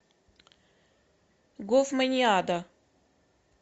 гофманиада